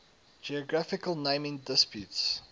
geographical naming disputes